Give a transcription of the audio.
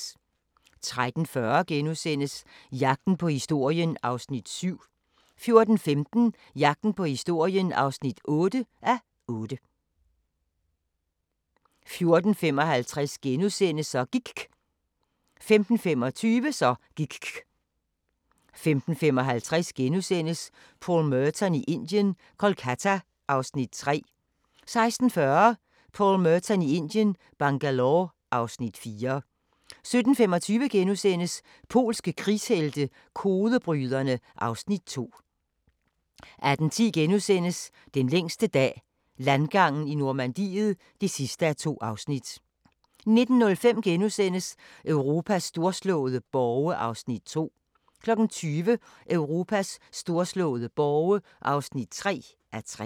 13:40: Jagten på historien (7:8)* 14:15: Jagten på historien (8:8) 14:55: Så gIKK' * 15:25: Så gIKK' 15:55: Paul Merton i Indien – Kolkata (Afs. 3)* 16:40: Paul Merton i Indien – Bangalore (Afs. 4) 17:25: Polske krigshelte – kodebryderne (Afs. 2)* 18:10: Den længste dag – landgangen i Normandiet (2:2)* 19:05: Europas storslåede borge (2:3)* 20:00: Europas storslåede borge (3:3)